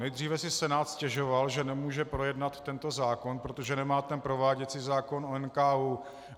Nejdříve si Senát stěžoval, že nemůže projednat tento zákon, protože nemá ten prováděcí zákon o NKÚ.